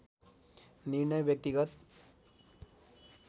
निर्णय व्यक्तिगत